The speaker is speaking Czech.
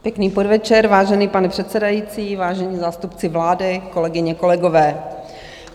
Pěkný podvečer, vážený pane předsedající, vážení zástupci vlády, kolegyně, kolegové.